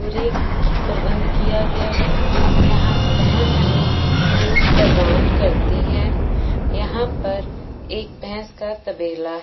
पूरे प्रबंध किया गया है यहां भैंस हमें दूध प्रदान करती हैं यहां पर एक भैंस का तबेला--